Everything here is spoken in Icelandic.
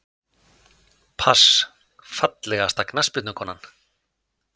pass Fallegasta knattspyrnukonan?